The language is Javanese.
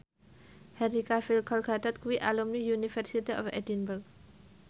Henry Cavill Gal Gadot kuwi alumni University of Edinburgh